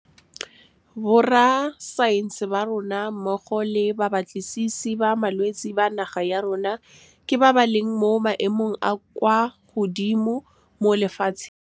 Borrasaense ba rona mmogo le babatlisisi ba malwetse ba naga ya rona ke ba ba leng mo maemong a a kwa godimo mo lefatsheng. Borrasaense ba rona mmogo le babatlisisi ba malwetse ba naga ya rona ke ba ba leng mo maemong a a kwa godimo mo lefatsheng.